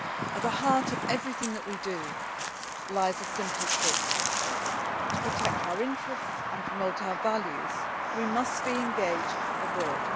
At the heart of everything we do lies a simple truth to protect our interests and promote our values, we must be engaged abroad.